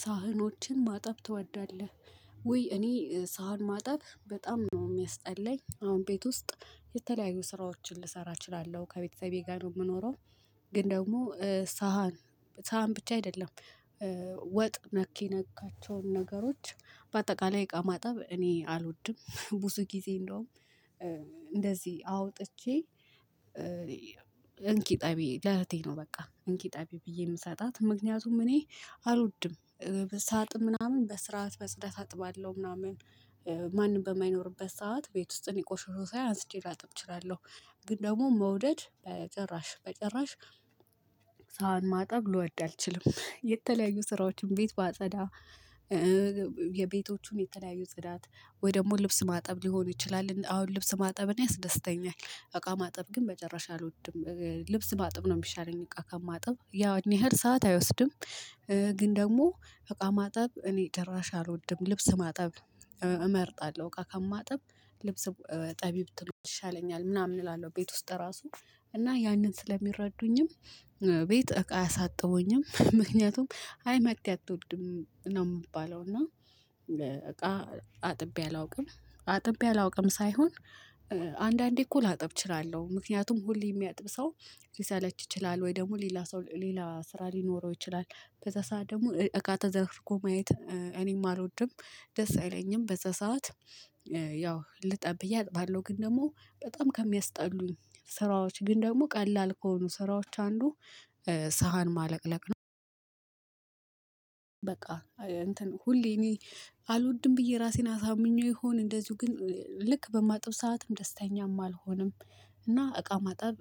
ሳህኖችን ማጠብ ትወዳለህ ወይ? እኔ ሳህን ማጠብ በጣም ነው የሚያስጠላኝ አሁን ቤት ውስጥ የተለያዩ ስራዎችን ልሰራ እችላለሁ ከቤተሰቤ ጋር ነው የምኖረው። ግን ደግሞ ሳህን ሳህን ብቻ አይደለም ወ ወጥ ነክ የነካቸውን ነገሮች በአጠቃላይ እቃ ማጠብ እኔ አልወድም። ብዙ ጊዜ እንደውም እንደዚህ አውጥቼ እንኪ እጠቢ ለእህቴ ነው በቃ እንኪ እጠቢ ብዬ የምሰጣት ምክንያቱም እኔ አልወድም። ሳጥብ ምናምን በስርዓት በጽዳት አጥባለሁ ምናምን ማንም በማይኖርበት ሰዓት ቤት ውስጥ እኔ ቆሻሾ ሳይ አንስቼ ላጥብ እችላለሁ። ግን ደግሞ መውደድ ጭራሽ በጭራሽ ሳህን ማጣብ ልወድ አልችልም። የተለያዩ ስራዎችን ቤት ባጸዳ። የቤቶቹን የተለያዩ ጽዳት ወይ ደግሞ ልብስ ማጠብ ሊሆን ይችላል አሁን ልብስ ማጠብን እኔ ያስደስተኛል። እቃ ማጠብ ግን በጭራሽ አልወድም ልብስ ባጥብ ነው የሚሻለኝ እቃ ከማጥብ ያን ያህል ሰዓት አይወስድም። ግን ደግሞ እቃ ማጠብ እኔ ጭራሽ አልወድም ልብስ ማጠብ እመርጣለሁ። እቃ ከማጥብ ልብስ እጠቢ ብትሉኝ ይሻለኛል ምናምን እላለሁ። ቤት ውስጥ ራሱ እና ያንን ስለሚረዱኝም ቤት እቃ አያሳጥቡኝም ምክንያቱም አይ መቅዲ አትወድም ነው የምባለው። እና እቃ አጥቤ አላውቅም አጥቤ አላውቅም ሳይሆን። አንዳንዴ እኮ ላጥብ እችላለሁ ምክንያቱም ሁሌ የሚያጥብ ሰው ሊሰለች ይችላል ወይ ደግሞ ሌላ ሰው ሌላ ስራ ሊኖረው ይችላል። በዛ ሰዓት ደግሞ እቃ ተዝረክርኮ ማየት እኔም አልወድም ደስ አይለኝም በዛ ሰዓት። ያው ልጠብ ብዬ አጥባለሁ ግን ደግሞ በጣም ከሚያስጠሉኝ ስራዎች ግን ደግሞ ቀላል ከሆኑ ስራዎች አንዱ ስ ሳህን ማለቅለቅ ነው። በቃ ሁሌ እኔ አልወድም ብዬ ራሴን አሳምኜው ይሆን እንደዚሁ ግን ልክ በማጥብ ሰዓትም ደስተኛም አልሆንም። እና እቃ ማጠብ